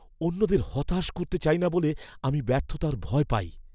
অন্যদের হতাশ করতে চাই না বলে আমি ব্যর্থতার ভয় পাই।